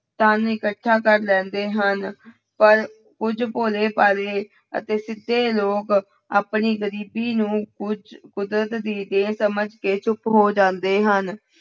ਧਨ ਇਕੱਠਾ ਕਰ ਲੈਂਦੇ ਹਨ ਪਰ ਕੁੱਝ ਭੋਲੇ ਭਾਲੇ ਅਤੇ ਸਿੱਧੇ ਲੋਕ ਆਪਣੀ ਗ਼ਰੀਬੀ ਨੂੰ ਕੁੱਝ ਕੁਦਰਤ ਦੀ ਦੇਣ ਸਮਝ ਕੇ ਚੁੱਪ ਹੋ ਜਾਂਦੇ ਹਨ।